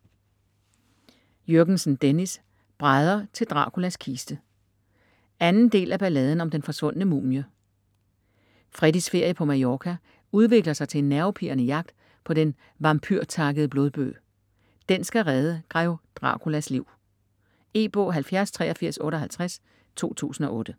Jürgensen, Dennis: Brædder til Draculas kiste 2. del af Balladen om den forsvundne mumie. Freddys ferie på Mallorca udvikler sig til en nervepirrende jagt på Den Vampyrtakkede Blodbøg. Den skal redde Grev Draculas liv. E-bog 708358 2008.